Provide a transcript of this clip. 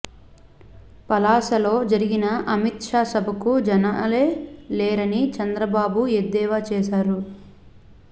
పలాసలో జరిగిన అమిత్ షా సభకు జనాలే లేరని చంద్రబాబు ఎద్దేవా చేశారు